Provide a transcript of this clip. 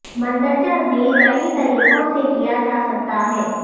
مندرجہ ذیل کئی طریقوں سے کیا جا سکتا ہے